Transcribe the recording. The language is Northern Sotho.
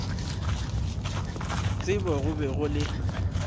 tsebo go be go le